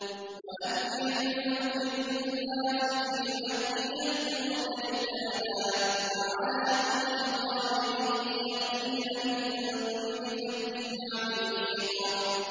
وَأَذِّن فِي النَّاسِ بِالْحَجِّ يَأْتُوكَ رِجَالًا وَعَلَىٰ كُلِّ ضَامِرٍ يَأْتِينَ مِن كُلِّ فَجٍّ عَمِيقٍ